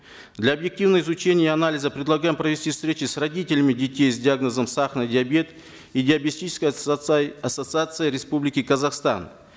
для объективного изучения и анализа предлагаем провести встречи с родителями детей с диагнозом сахарный диабет и диабетической ассоциацией республики казахстан